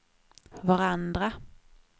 varandra